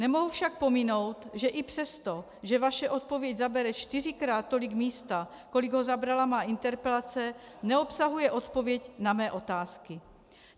Nemohu však pominout, že i přesto, že vaše odpověď zabere čtyřikrát tolik místa, kolik ho zabrala má interpelace, neobsahuje odpověď na mé otázky.